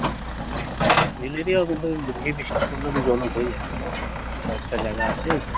hill area কিন্তু বেশি বৃষ্টি পড়লে তো জল উঠেই যায়। কয়েকটা জায়গা আছে।